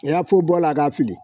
A y'a fo bɔ ala ka fili